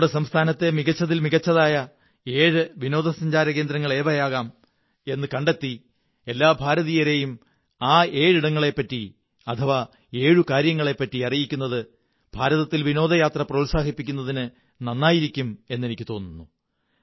നിങ്ങളുടെ സംസ്ഥാനത്തെ മികച്ചതിൽ മികച്ചതായ ഏഴ് വിനോദസഞ്ചാരകേന്ദ്രങ്ങൾ ഏതൊക്കെയാവാം എന്നു കണ്ടെത്തി എല്ലാ ഭാരതീയരെയും ആ ഏഴിടങ്ങളെപ്പറ്റി അഥവാ ഏഴു കാര്യങ്ങളെപ്പറ്റി അറിയിക്കുന്നത് ഭാരതത്തിൽ വിനോദയാത്ര പ്രോത്സാഹിപ്പിക്കുന്നതിന് നന്നായിരിക്കുമെന്ന് എനിക്കു തോന്നുന്നു